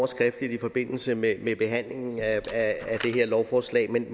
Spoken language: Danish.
skriftligt i forbindelse med behandlingen af det her lovforslag men